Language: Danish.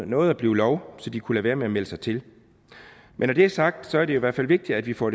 nåede at blive lov så de kunne lade være med at melde sig til men når det er sagt er det jo i hvert fald vigtigt at vi får